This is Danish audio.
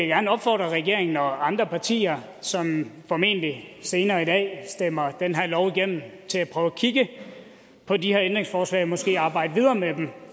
gerne opfordre regeringen og andre partier som formentlig senere i dag stemmer den her lov igennem til at prøve at kigge på de her ændringsforslag og måske arbejde videre med dem